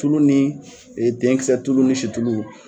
Tulu ni tenkisɛ tulu ni situlu